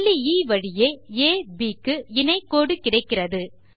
புள்ளி எ வழியே அப் க்கு இணை கோடு கிடைக்கிறது